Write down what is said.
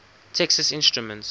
texas instruments